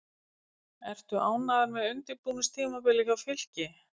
Ertu ánægður með undirbúningstímabilið hjá Fylki?